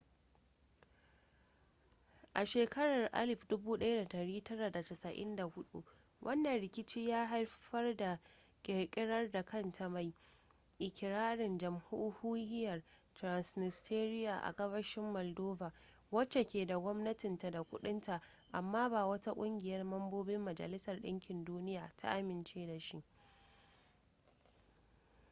a shekarar 1994 wannan rikici ya haifar da kirkirar da kanta mai ikirarin jamhuriyyar transnistria a gabashin moldova wacce ke da gwamnatinta da kudin ta amma ba wata kungiyar mambobin majalisar dinkin duniya ta amince da shi ba